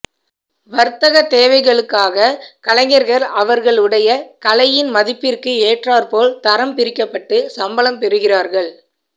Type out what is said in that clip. வர்த்தக தேவைகளுக்காக கலைஞர்கள் அவர்களுடைய கலையின் மதிப்பிற்கு ஏற்றார்ப்போல் தரம் பிரிக்கப்பட்டு சம்பளம் பெறுகிறார்கள்